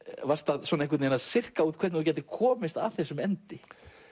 varst að cirka út hvernig þú gætir komist að þessum endi